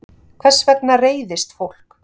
Hvers vegna reiðist fólk?